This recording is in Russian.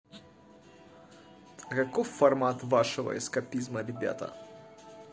каков формат вашего эскапизма ребята